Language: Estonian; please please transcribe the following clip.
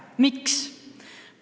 Miks?